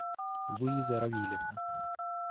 луиза равильевна